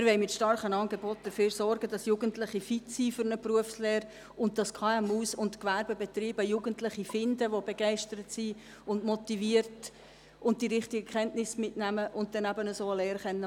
Wir wollen mit starken Angeboten dafür sorgen, dass Jugendliche fit sind für eine Berufslehre und dass KMU und Gewerbebetriebe Jugendliche finden, die begeistert und motiviert sind und die richtigen Kenntnisse mitnehmen und eine Lehre absolvieren können.